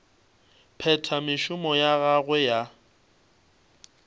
phetha mešomo ya gagwe ya